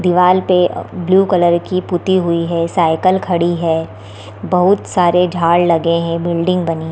दीवाल पे blue colour की पुती हुई है साइकिल खड़ी है बहुत सारे झाड़ लगे हैं बिल्डिंग बनी --